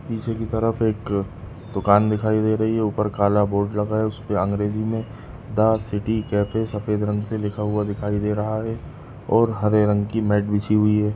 निचे की तरफ एक दूकान दिखाई दे रही है ऊपर काला बोर्ड लगाया उसपे अंग्रेजी में दा सिटी कैफ़े सफ़ेद रंग से दिखाई दे रहा है और हरे रंग की म्याट बिछी हुयी है।